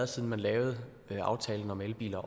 siden man lavede aftalen om elbiler